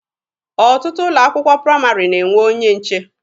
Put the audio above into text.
Ọtụtụ ụlọ akwụkwọ praịmarị na-enwe onye nche.